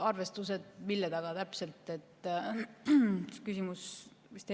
Arvestused mille taga täpselt?